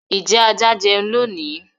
ijẹ àjà jẹún lónì?